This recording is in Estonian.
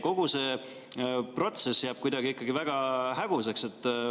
Kogu see protsess jääb kuidagi väga häguseks.